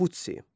Konfutsi.